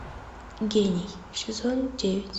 гений сезон девять